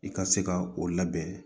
I ka se ka o labɛn